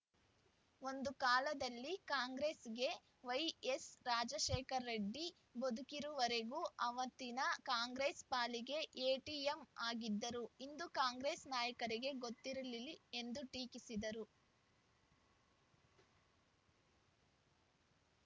ಒಂದು ಕಾಲದಲ್ಲಿ ಕಾಂಗ್ರೆಸ್‌ಗೆ ವೈಎಸ್‌ರಾಜಶೇಖರರೆಡ್ಡಿ ಬದುಕಿರೋವರೆಗೂ ಅವತ್ತಿನ ಕಾಂಗ್ರೆಸ್‌ ಪಾಲಿಗೆ ಎಟಿಎಂ ಆಗಿದ್ದರು ಇಂದು ಕಾಂಗ್ರೆಸ್‌ ನಾಯಕರಿಗೆ ಗೊತ್ತಿರಲಿ ಎಂದು ಟೀಕಿಸಿದರು